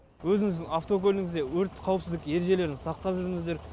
өзіңіздің автокөлігіңізде өрт қауіпсіздік ережелерін сақтап жүріңіздер